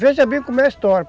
Veja bem como é a história.